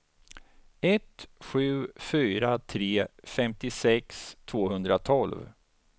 ett sju fyra tre femtiosex tvåhundratolv